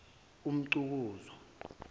umxukuzwa